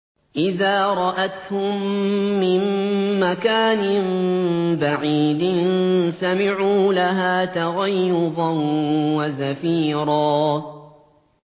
إِذَا رَأَتْهُم مِّن مَّكَانٍ بَعِيدٍ سَمِعُوا لَهَا تَغَيُّظًا وَزَفِيرًا